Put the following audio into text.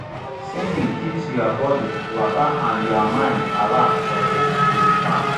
singing keeps ya bodi waka and ya mind alert for di di farm